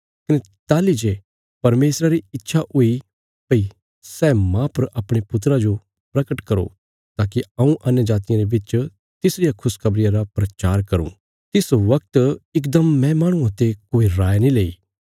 कने ताहली जे परमेशरा री इच्छा हुई भई सै माह पर अपणे पुत्रा जो परगट करो ताकि हऊँ अन्यजातियां रे बिच तिसरिया खुशखबरिया रा प्रचार करूँ तिस बगत इकदम मैं माहणुआं ते कोई राय नीं लैई